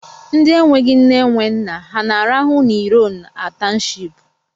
Ndi enweghi nne, enwe nna, ha na-arụhụ na iron a townshipu?